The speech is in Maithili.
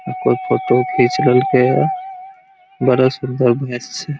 कोई फोटो खींच रहके या बड़ा सुन्दर मैच छै।